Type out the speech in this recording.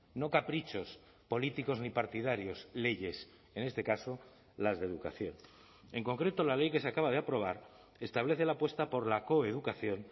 no caprichos políticos ni partidarios leyes en este caso las de educación en concreto la ley que se acaba de aprobar establece la apuesta por la coeducación